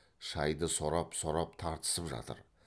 шайды сорап сорап тартысып жатыр